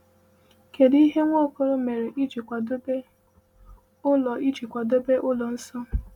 Kedụ ihe Nwaokolo mere iji kwadebe ụlọ iji kwadebe ụlọ nsọ?